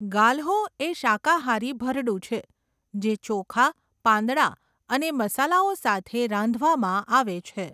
ગાલ્હો એ શાકાહારી ભરડું છે જે ચોખા, પાંદડા અને મસાલાઓ સાથે રાંધવામાં આવે છે.